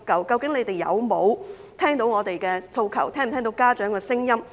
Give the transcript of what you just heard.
究竟當局有否聽到我們的訴求，有否聽到家長的聲音呢？